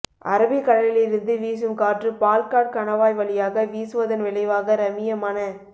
Arabic கடலில் இருந்து வீசும் காற்று பால்காட் கணவாய் வழியாக வீசுவதன் விளைவாக ரம்மியமான